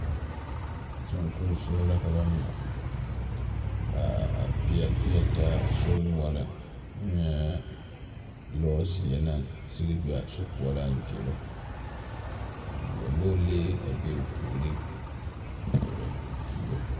Songosori la ka ba mɛ ka a peɛle peɛle taa a sori noɔreŋ n nyɛɛ lɔzeɛ naŋ sigi be a sokoɔraŋ a zoro ka lɔlee be o puoriŋ a sori tuuro.